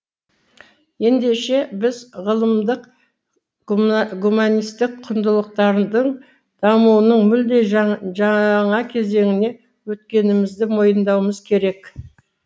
ендеше біз ғылымдық гуманистік құндылықтардың дамуының мүлде жаңа кезеңіне өткенімізді мойындауымыз керек